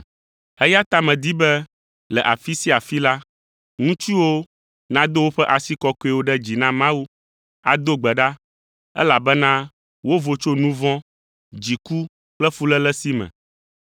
Eya ta medi be le afi sia afi la, ŋutsuwo nado woƒe asi kɔkɔewo ɖe dzi na Mawu, ado gbe ɖa, elabena wovo tso nu vɔ̃, dziku kple fuléle si me.